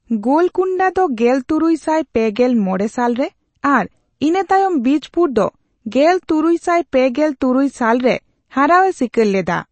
ᱜᱳᱞᱠᱩᱸᱰᱟ ᱫᱚ ᱜᱮᱞ ᱛᱩᱨᱩᱭ ᱥᱟᱭ ᱯᱮᱜᱮᱞ ᱢᱚᱲᱮ ᱥᱟᱞ ᱨᱮ ᱟᱨ ᱤᱱᱟᱹᱛᱟᱭᱚᱢ ᱵᱤᱡᱯᱩᱨ ᱫᱚ ᱜᱮᱞᱛᱩᱨᱩᱭ ᱥᱟᱭ ᱯᱮᱜᱮᱞ ᱛᱩᱨᱩᱭ ᱥᱟᱞ ᱨᱮ ᱦᱟᱨᱟᱣ ᱮ ᱥᱤᱠᱟᱹᱨ ᱞᱮᱫᱟ᱾